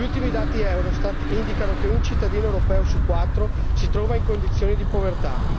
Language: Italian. Gli ultimi dati Eurostat indicano che un cittadino europeo su quattro si trova in condizione di povertà.